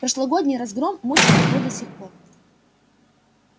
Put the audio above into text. прошлогодний разгром мучил его до сих пор